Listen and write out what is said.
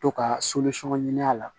To ka ɲini a la